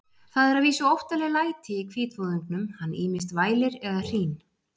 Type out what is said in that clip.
Það eru að vísu óttaleg læti í hvítvoðungnum, hann ýmist vælir eða hrín.